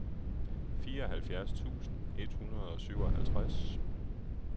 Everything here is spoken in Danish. fireoghalvfjerds tusind et hundrede og syvoghalvtreds